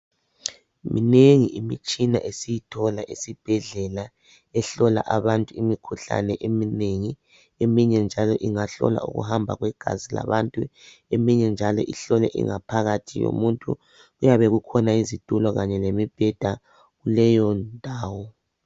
minengi imitshina esiyithola esibhedlela ehlola abantu imikhuhlane eminengi eminye njalo ingahlola ukuhamba kwegazi labantu eminye njalo ihlole ingaphakathi yomuntu kuyabe kukhona izitulo kanye lemibheda kuleyo ndawo